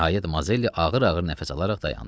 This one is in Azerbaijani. Nəhayət Mazelli ağır-ağır nəfəs alaraq dayandı.